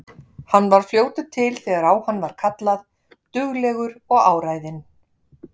Hann var fljótur til þegar á hann var kallað, duglegur og áræðinn.